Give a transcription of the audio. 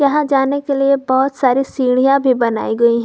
वहां जाने के लिए बहोत सारी सीढ़ियां भी बनाई गई है।